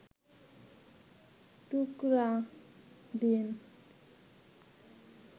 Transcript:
টুকরা দিন